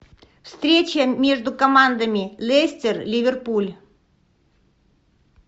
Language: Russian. встреча между командами лестер ливерпуль